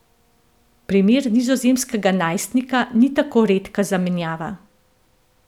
Primer nizozemskega najstnika ni tako redka zamenjava.